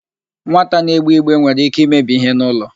Nwata na-egbe igbe nwere íké imebi íhé n'ụlọ.